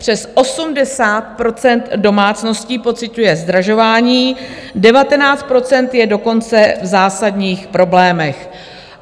Přes 80 % domácností pociťuje zdražování, 19 % je dokonce v zásadních problémech.